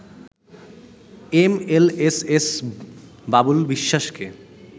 MLSS Babul বিশ্বাসকে